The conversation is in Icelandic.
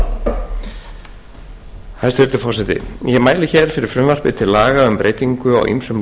forseti ég mæli hér fyrir frumvarpi til laga um breytingu á ýmsum